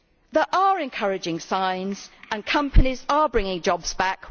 There are encouraging signs and companies are bringing jobs back.